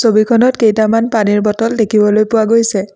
খনত কেইটামান পানীৰ বটল দেখিবলৈ পোৱা গৈছে।